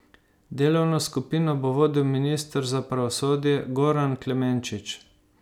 Delovno skupino bo vodil minister za pravosodje Goran Klemenčič.